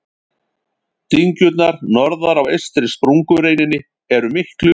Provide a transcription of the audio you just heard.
Dyngjurnar norðar á eystri sprungureininni eru miklu yngri.